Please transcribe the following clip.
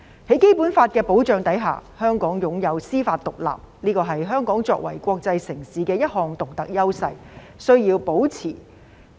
在《基本法》的保障下，香港擁有司法獨立，這是香港作為國際城市的一項獨特優勢，需要保持。